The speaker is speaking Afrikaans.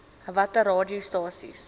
watter aa radiostasies